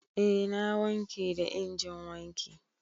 Eh na wanke da injin wanki.